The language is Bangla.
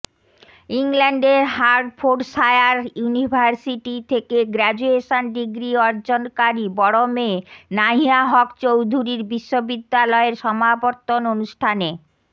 ইংল্যান্ডের হার্ডফোর্ডশায়ার ইউনিভার্সিটি থেকে গ্রাজুয়েশন ডিগ্রী অর্জনকারী বড় মেয়ে নাহিয়া হক চৌধুরীর বিশ্ববিদ্যালয়ের সমাবর্তন অনুষ্ঠানে